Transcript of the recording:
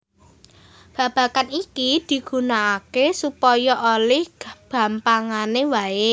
Babagan iki digunakaké supaya olih gampangané wae